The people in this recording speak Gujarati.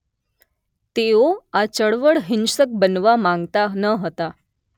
તેઓ આ ચળવળ હિંસક બનવા માંગતા ન હતાં